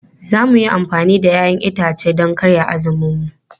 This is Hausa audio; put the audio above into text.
Za mu yi amfani da 'ya'yan itace don karya azuminmu.